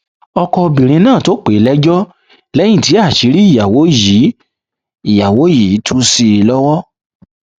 ọkọ obìnrin náà ló pè é lẹjọ lẹyìn tí àṣírí ìyàwó yìí ìyàwó yìí tú sí i lọwọ